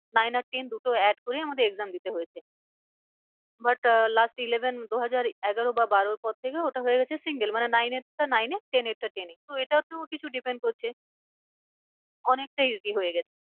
Nine আর ten দুটো add করে আমাদের exam দিতে হয়েছে। but last eleven দু হাজার এগারো বা বারোর পর থেকে ওটা হয়ে গেছে single মানে nine এর টা nine এ ten এর টা ten এ তো এটাতেও কিছু depend করছে অনেকটাই easy হয়ে গেছে।